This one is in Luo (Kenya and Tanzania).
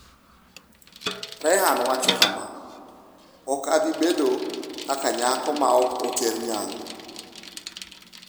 Rehan wacho kama: “Ok abi bedo kaka nyako ma ok oter nyangu.